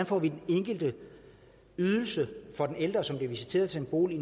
får den enkelte ydelse for den ældre som bliver visiteret til en bolig